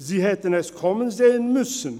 Sie hätten es kommen sehen müssen.